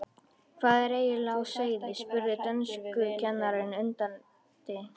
Hvað er eiginlega á seyði? spurði dönskukennarinn undrandi.